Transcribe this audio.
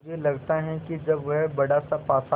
मुझे लगता है कि जब वह बड़ासा पासा